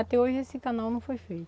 Até hoje esse canal não foi